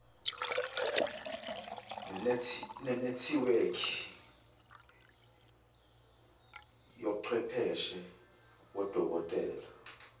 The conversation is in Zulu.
nenethiwekhi yochwepheshe bodokotela